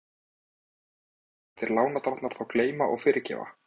Heimir: Munu illa brenndir lánadrottnar þá gleyma og fyrirgefa?